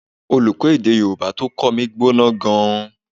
Olùkọ́ èdè Yorùbá tó kọ́ mi gbóná gan-an